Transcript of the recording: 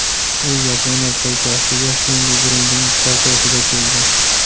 U Yaponiya poytaxtiga Fendi brendining paltosida keldi.